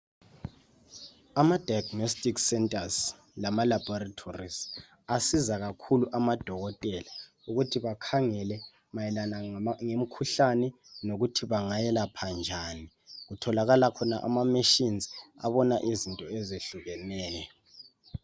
Amadiagonistics centers lamalaboratories asiza kakhulu amadokotela ukuthi bakhangele mayelana lemikhuhlane lokuthi bangayelapha njani. Kutholakala khona amamachines abona izinto ezehlukeneyo.